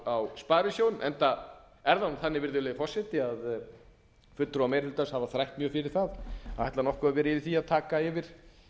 á sparisjóðunum enda er það þannig virðulegi forseti að fulltrúar meiri hlutans hafa þrætt mjög fyrir það að ætla nokkuð að vera í því að taka